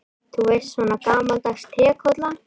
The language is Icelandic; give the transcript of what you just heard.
Þú veist, svona gamaldags trékolla.